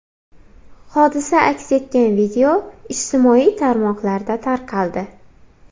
Hodisa aks etgan video ijtimoiy tarmoqlarda tarqaldi .